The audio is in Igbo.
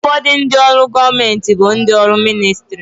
Ụfọdụ ndị ọrụ gọọmenti bụ ndị ọrụ ministrị